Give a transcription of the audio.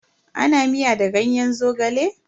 Ana miya da ganyen Zogale.